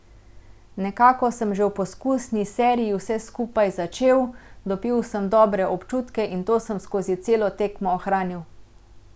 Nekako sem že v poskusni seriji vse skupaj začel, dobil sem dobre občutke in to sem skozi celo tekmo ohranil.